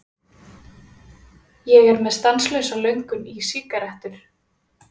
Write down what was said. Ég er með stanslausa löngun í sígarettur.